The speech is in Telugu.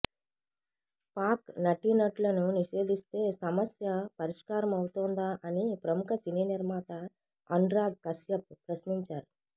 పాక్ నటీనటులను నిషేధిస్తే సమస్య పరిష్కారమవుతోందా అని ప్రముఖ సినీ నిర్మాత అనురాగ్ కశ్యప్ ప్రశ్నించారు